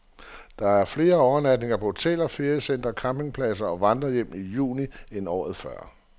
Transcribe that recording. Der er flere overnatninger på hoteller, feriecentre, campingpladser og vandrerhjem i juni end året før.